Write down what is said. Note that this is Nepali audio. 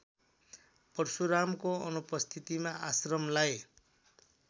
परशुरामको अनुपस्थितिमा आश्रमलाई